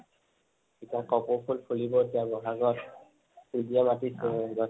এতিয়া কপৌ ফুল ফুলিব এতিয়া বিহাগত কুলিয়ে মাতিছে